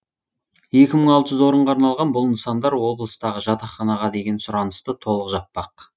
екі мың алты жүз орынға арналған бұл нысандар облыстағы жатақханаға деген сұранысты толық жаппақ